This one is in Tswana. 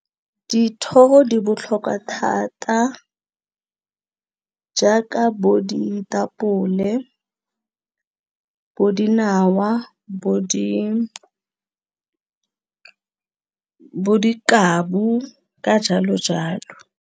Dithoro di botlhokwa thata jaaka bo ditapole, bo dinawa, bo di dikabu ka jalo jalo.